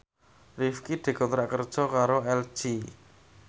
Rifqi dikontrak kerja karo LG